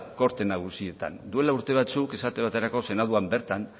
korte nagusietan duela urte batzuk esate baterako senatuan bertan